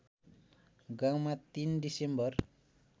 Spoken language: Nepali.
गाउँमा ३ डिसेम्बर